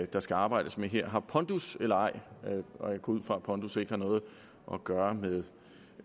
der skal arbejdes med her har pondus eller ej og jeg går ud fra at pondus ikke har noget at gøre med